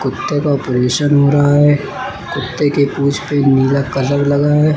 कुत्ते का ऑपरेशन हो रहा है कुत्ते के पूछ पे नीला कलर लगा है।